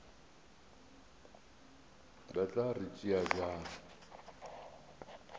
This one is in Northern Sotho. ba tla re tšea bjang